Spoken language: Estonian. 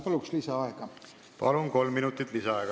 Palun lisaaega!